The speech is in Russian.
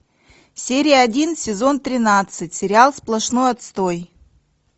серия один сезон тринадцать сериал сплошной отстой